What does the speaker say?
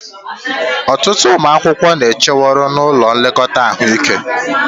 Ọtụtụ ụmụ akwụkwọ na-echeworị n'ụlọ nlekọta ahụike